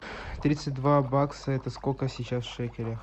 тридцать два бакса это сколько сейчас в шекелях